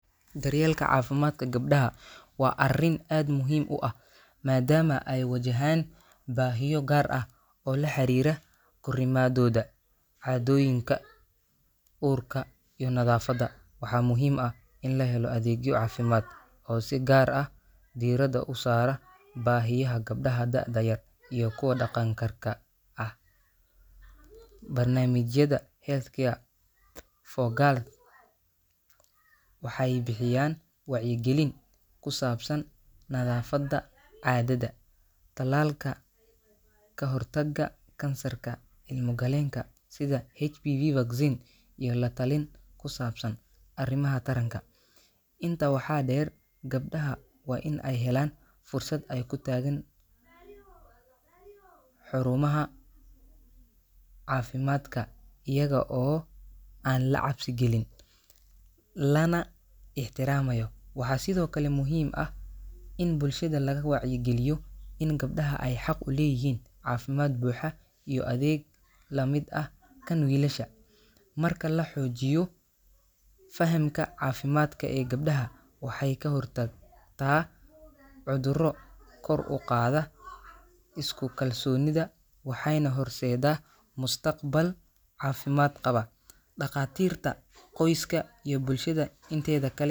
Daryeelka caafimaadka gabdhaha waa arrin aad muhiim u ah, maadaama ay wajahaan baahiyo gaar ah oo la xiriira korriimadooda, caadooyinka, uurka, iyo nadaafadda. Waxaa muhiim ah in la helo adeegyo caafimaad oo si gaar ah diiradda u saara baahiyaha gabdhaha da’da yar iyo kuwa qaankarka ah. Barnaamijyada healthcare for girls waxay bixiyaan wacyigelin ku saabsan nadaafadda caadada, tallaalka ka hortagga kansarka ilmo-galeenka sida HPV vaccine, iyo la-talin ku saabsan arrimaha taranka. Intaa waxaa dheer, gabdhaha waa in ay helaan fursad ay ku tagaan xurumaha caafimaadka iyaga oo aan la cabsi gelin, lana ixtiraamayo. Waxaa sidoo kale muhiim ah in bulshada laga wacyageliyo in gabdhaha ay xaq u leeyihiin caafimaad buuxa iyo adeeg la mid ah kan wiilasha. Marka la xoojiyo fahamka caafimaadka ee gabdhaha, waxay ka hortagtaa cudurro, kor u qaadaa isku kalsoonida, waxayna horseeddaa mustaqbal caafimaad qaba. Dhakhaatiirta, qoysaska, iyo bulshada inteeda kale.